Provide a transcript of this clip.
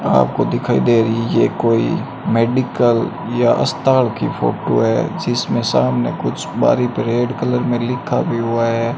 आपको दिखाई दे रही है कोई मेडिकल या स्थान की फोटो है जिसमें सामने कुछ बारी पे रेड कलर में लिखा भी हुआ है।